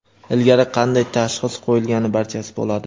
ilgari qanday tashxis qo‘yilgani – barchasi bo‘ladi.